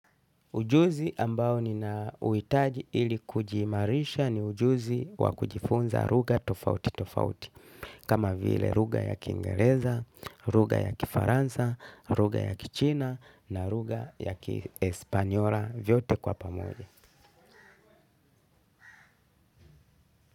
Ujuzi ambao ninauhitaji ili kujiimarisha ni ujuzi wa kujifunza lugha tofauti tofauti, kama vile lugha ya Kiingereza, lugha ya Kifaransa, lugha ya Kichina na lugha ya Kiespanyora vyote kwa pamoja.